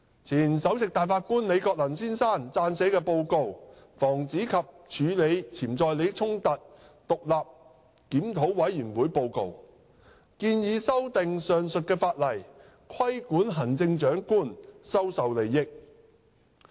前首席大法官李國能先生撰寫的《防止及處理潛在利益衝突獨立檢討委員會報告》建議修訂上述法例，規管行政長官收受利益。